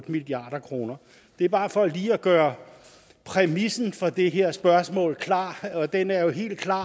milliard kroner det er bare for lige at gøre præmissen for det her spørgsmål klar og den er jo helt klar